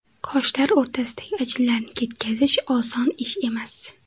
Qoshlar o‘rtasidagi ajinlarni ketkazish oson ish emas.